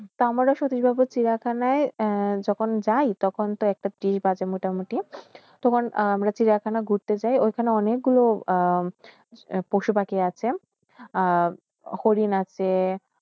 তোয়ামার সটিশবাবূ সিরিয়াখানা যখন যায় টোকন একটা-ত্রিশ বাজে মোটামুটি তখন আমরা সিরিয়াখানা ঘুরতে যায় ঐখানে অনেক গুলো পশু-পাখি আস আহ হরিণ আসে